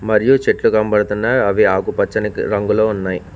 మరియు చెట్లు గంబడుతున్నాయ్ అవి ఆకుపచ్చని రంగులో ఉన్నాయి.